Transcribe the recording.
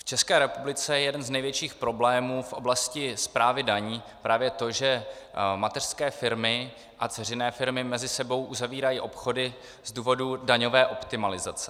V České republice je jeden z největších problémů v oblasti správy daní právě to, že mateřské firmy a dceřiné firmy mezi sebou uzavírají obchody z důvodu daňové optimalizace.